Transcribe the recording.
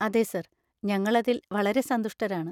അതെ സർ, ഞങ്ങൾ അതിൽ വളരെ സന്തുഷ്ടരാണ്.